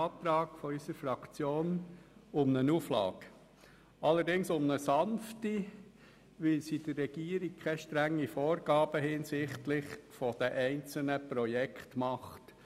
Beim Antrag der FDP-Fraktion handelt es sich formell um eine Auflage, allerdings um eine sanfte, weil sie der Regierung keine strengen Vorgaben hinsichtlich der einzelnen Projekte macht.